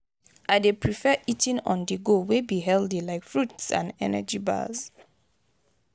i dey prefer eating on-the-go wey be healthy like fruits and energy bars.